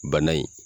Bana in